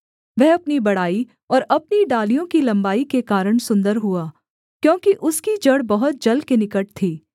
वह अपनी बड़ाई और अपनी डालियों की लम्बाई के कारण सुन्दर हुआ क्योंकि उसकी जड़ बहुत जल के निकट थी